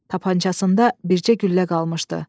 Tapancasında bircə güllə qalmışdı.